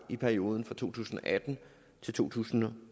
i perioden fra to tusind og atten til to tusind og